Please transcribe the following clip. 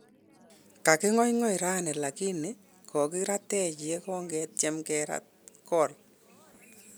Kakigoigoi raani lakini kokiratech ye kong ketyem kerat kol